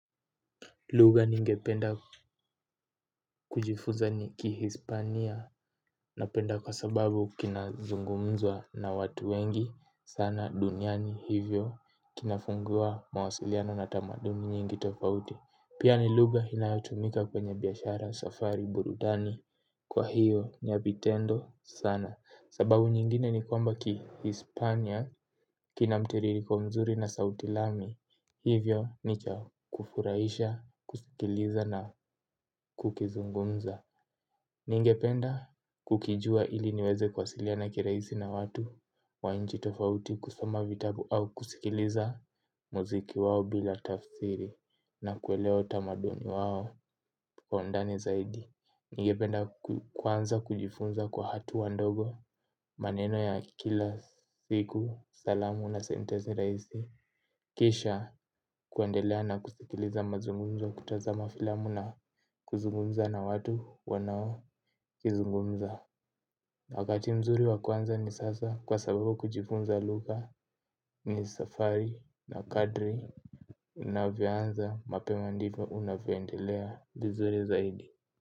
Lugha ningependa kujifuza ni kihispania napenda kwa sababu kina zungumzwa na watu wengi sana duniani hivyo kinafungua mawasiliano na tamaduni nyingi tofauti. Pia ni lugha inayotumika kwenye biashara safari burudani kwa hiyo ni ya vitendo sana. Sababu nyingine ni kwamba ki Hispania, kina mtiririko mzuri na sauti lami, hivyo ni cha kufurahisha, kusikiliza na kukizungumza. Ningependa kukijua ili niweze kuwasiliana kirahisi na watu, wa nchi tofauti kusoma vitabu au kusikiliza muziki wao bila tafsiri na kuelewa utamaduni wao kwa undani zaidi. Ningependa kuanza kujifunza kwa hatua ndogo maneno ya kila siku salamu na sentensi rahisi kisha kuendelea na kusikiliza mazungumzo kutazama filamu na kuzungumza na watu wanaokizungumza wakati mzuri wa kuanza ni sasa kwa sababu kujifunza lugha ni safari na kadri unavyoanza mapema ndivyo unavyoendelea vizuri zaidi.